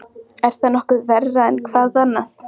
Sölvi, stilltu tímamælinn á tuttugu og tvær mínútur.